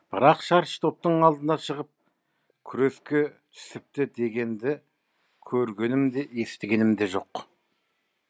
бірақ шаршы топтың алдына шығып күреске түсіпті дегенді көргенім де естігенім де жоқ